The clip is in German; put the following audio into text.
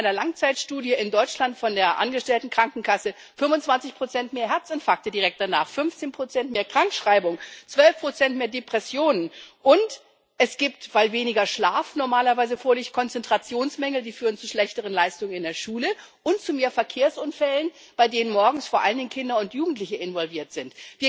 Es gibt nach einer Langzeitstudie in Deutschland von der Angestelltenkrankenkasse 25 mehr Herzinfarkte direkt danach, 15 mehr Krankschreibungen, 12 mehr Depressionen, und es gibt, weil weniger Schlaf normalerweise vorliegt, Konzentrationsmängel, die führen zu schlechteren Leistungen in der Schule und zu mehr Verkehrsunfällen, bei denen morgens vor allen Dingen Kinder und Jugendliche involviert sind.